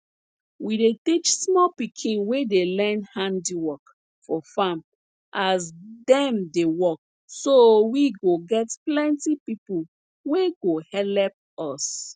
we dey teach small pikin wey dey learn handiwork for farm as dem dey work so we go get plenti pipo wey go helep us